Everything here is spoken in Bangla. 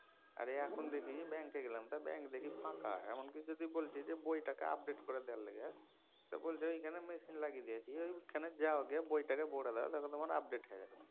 আর এখন দেখি ব্যাঙ্কে গেলাম তো ব্যাঙ্ক দেখি ফাঁকা। এমন কি যদি বলছি বইটাকে update করে দেওয়ার লিগা তো বলছে ঐখানে machine লাগিয়ে দিয়েছি ঐখানে যাও গিয়া বইটাকে ভরে দাও update হয়া যাবে।